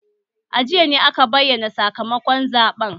A jiya ne aka bayyana sakamakon zaɓen